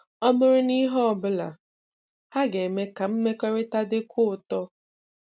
Ọ bụrụ na ihe ọ bụla, ha ga-eme ka mmekọrịta dịkwuo ụtọ.